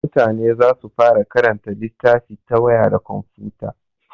Mutane za su fara karanta littafi ta waya da komfuta.